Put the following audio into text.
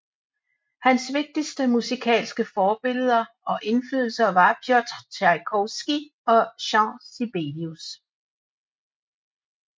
Hans vigtigste musikalske forbilleder og inflydelser var Pjotr Tjajkovskij og Jean Sibelius